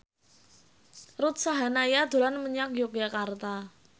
Ruth Sahanaya dolan menyang Yogyakarta